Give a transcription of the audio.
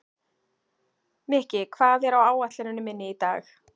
Mikki, hvað er á áætluninni minni í dag?